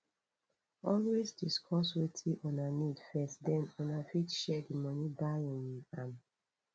always discuss wetin una need first then una fit share di money buy um am